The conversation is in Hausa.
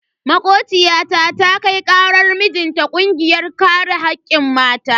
Makociyata ta kai karar mijinta kungiyar kare hakkin mata.